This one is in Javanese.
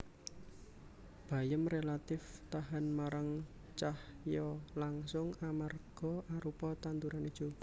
Bayem rélatif tahan marang cahya langsung amarga arupa tanduran ijo